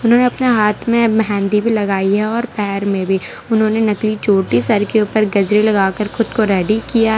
उन्होंने अपने हाथ में मेंहदी भी लगाई है और पैर में भी उन्होंने नकली चोटी सर के ऊपर गजरे लगा कर खुद को रेडी किया है।